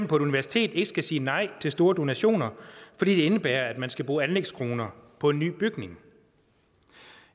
på et universitet ikke skal sige nej til store donationer fordi det indebærer at man skal bruge anlægskroner på en ny bygning